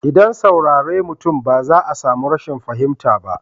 ldan saurare mutum ba za a samu rashin fahimta ba.